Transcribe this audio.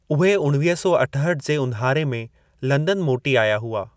उहे उणवीह सौ अठहठि जे उन्हारे में लंदन मोटी आया हुआ।